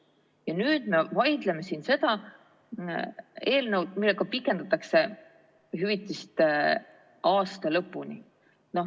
Ja nüüd me vaidleme siin selle eelnõu üle, millega pikendatakse hüvitist aasta lõpuni.